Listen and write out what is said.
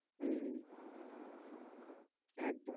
হম হম একদম